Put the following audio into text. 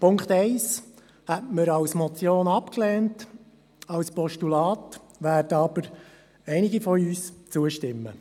Die Ziffer 1 hätten wir als Motion abgelehnt, einem Postulat werden aber einige von uns zustimmen.